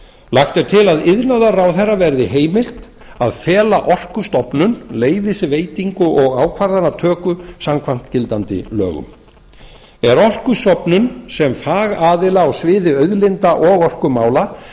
lagt er til að iðnaðarráðherra verði heimilt að fela orkustofnun leyfisveitingu og ákvarðanatöku samkvæmt gildandi lögum er orkustofnun sem fagaðila a sviði auðlinda og orkumála